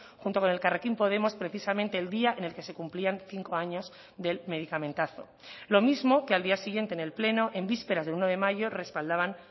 junto con elkarrekin podemos precisamente el día en el que se cumplían cinco años del medicamentazo lo mismo que al día siguiente en el pleno en vísperas de uno de mayo respaldaban